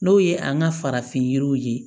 N'o ye an ka farafin yiriw ye